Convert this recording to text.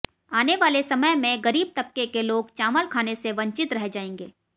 आने वाले समय में गरीब तबके के लोग चावल खाने से वंचित रह जाएंगे